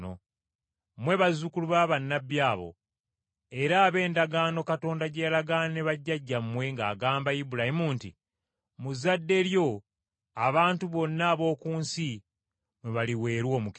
Mmwe bazzukulu ba bannabbi abo, era ab’endagaano Katonda gye yalagaana ne bajjajjammwe ng’agamba Ibulayimu nti, ‘Mu zzadde lyo abantu bonna ab’oku nsi mwe baliweerwa omukisa.’